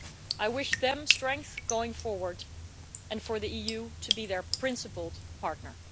I wish them strength going forward and for the EU to be their principled partner.